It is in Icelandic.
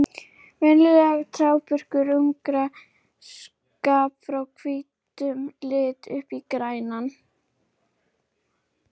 Miðað við mannskap er liðið með fáránlega mörg stig.